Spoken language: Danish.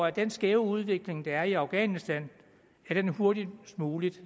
at den skæve udvikling der er i afghanistan hurtigst muligt